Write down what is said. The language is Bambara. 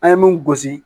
An ye mun gosi